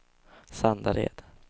Sandared